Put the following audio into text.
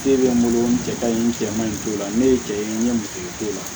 E bɛ n bolo n cɛ ka ɲi n cɛ man ɲi t'o la ne ye cɛ ye n ye musotigi t'o la